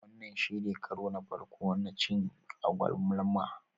Wannan shine karo na farko na cin agwaluma